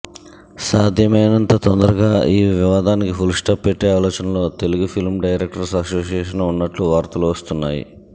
సాధ్యమైనంత తొందరగా ఈ వివాదానికి ఫుల్ స్టాప్ పెట్టే ఆలోచనలో తెలుగు ఫిల్మ్ డైరెక్టర్స్ అసోసియేషన్ ఉన్నట్టు వార్తలు వస్తున్నాయి